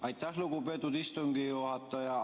Aitäh, lugupeetud istungi juhataja!